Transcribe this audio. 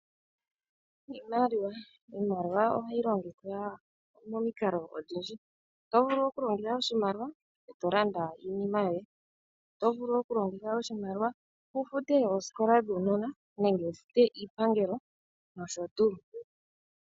Iimaliwa. Iimaliwa ohayi longithwa momikalo odhindji. Oto vulu oku longitha oshimaliwa eto landa iinima yoye, otovulu oku longitha oshimaliwa oku futa ooskola dhuunona nenge wu fute iipangelo nsh.